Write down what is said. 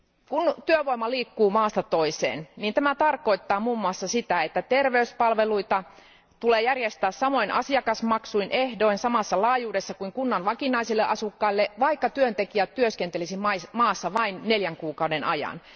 Kun työvoima liikkuu maasta toiseen, tämä tarkoittaa muun muassa sitä, että terveyspalveluita tulee järjestää samoin asiakasmaksuin ja ehdoin samassa laajuudessa kuin kunnan vakinaisille asukkaille, vaikka työntekijät työskentelisivät maassa vain neljän kuukauden ajan.